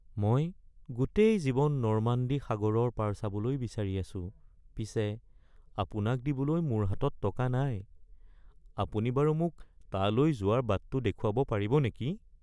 মই গোটেই জীৱন নৰ্মাণ্ডী সাগৰৰ পাৰ চাবলৈ বিচাৰি আছো পিছে আপোনাক দিবলৈ মোৰ হাতত টকা নাই, আপুনি বাৰু মোক তালৈ যোৱাৰ বাটটো দেখুৱাব পাৰিব নেকি? (পৰ্যটক)